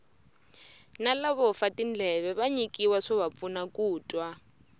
na lavo fa tindleve va nyikiwa swova pfuna ku twa